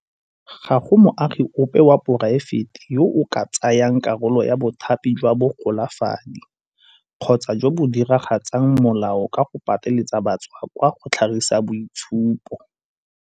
Ga go moagi ope wa poraefete yo o ka tsayang karolo ya bothati jwa bogolafadi kgotsa jo bo diragatsang molao ka go pateletsa batswakwa go tlhagisa boitshupo.